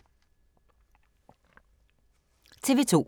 TV 2